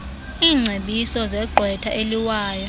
iingcebiso zegqwetha eliwayo